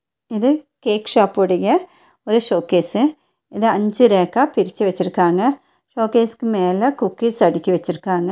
இது cake shop உடைய ஒரு ஷோகேஸ்ஸு இத அஞ்சு ரேக்கா பிரிச்சு வச்சிருக்காங்க ஷோகேஷ்க்கு மேல குக்கீஸ் அடுக்கி வச்சிருக்காங்க